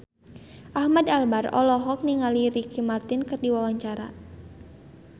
Ahmad Albar olohok ningali Ricky Martin keur diwawancara